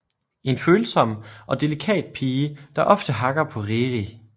En følsom og delikat pige der ofte hakker på Riri